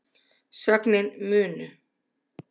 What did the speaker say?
sögnin munu